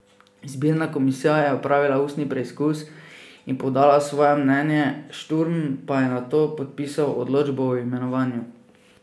Izbirna komisija je opravila ustni preizkus in podala svoje mnenje, Šturm pa je nato podpisal odločbo o imenovanju.